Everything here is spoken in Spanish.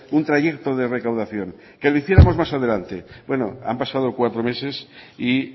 un trayecto de recaudación que lo hiciéramos más adelante bueno han pasado cuatro meses y